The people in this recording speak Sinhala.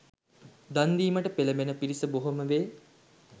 දන් දීමට පෙළැඹෙන පිරිස බොහෝ වෙයි.